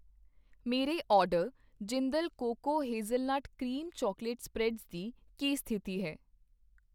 ਮੇਰੇ order Jindal cocoa hazelnut cream chocolate spreads ਦੀ ਕੀ ਸਥਿਤੀ ਹੈ?